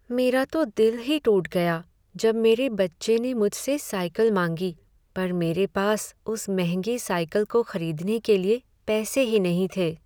मेरा तो दिल ही टूट गया जब मेरे बच्चे ने मुझसे साइकिल मांगी पर मेरे पास उस महंगी साइकिल को खरीदने के लिए पैसे ही नहीं थे।